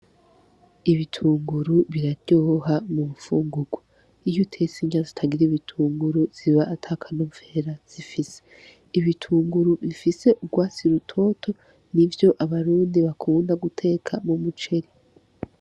Ibitunguru biryoha mubifungurwa ,iy'utets'irya zitagir'ibitunguru ziba atakanovera zifise. Ibitunguru bifis'urwatsi rubisi nivyo abarundi bakunda guteka mu muceri.